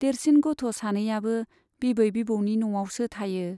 देरसिन गथ' सानैयाबो बिबै बिबौनि न'आवसो थायो।